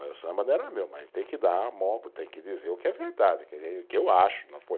O samba não era meu, mas tem que dar, tem que dizer o que é verdade, o que eu acho, não foi